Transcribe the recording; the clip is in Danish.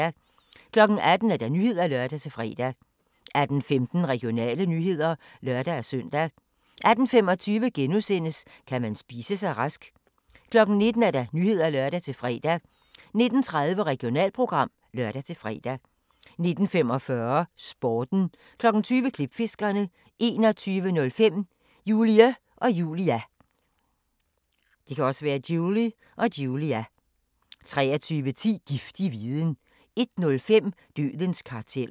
18:00: Nyhederne (lør-fre) 18:15: Regionale nyheder (lør-søn) 18:25: Kan man spise sig rask? * 19:00: Nyhederne (lør-fre) 19:30: Regionalprogram (lør-fre) 19:45: Sporten 20:00: Klipfiskerne 21:05: Julie & Julia 23:10: Giftig viden 01:05: Dødens karteller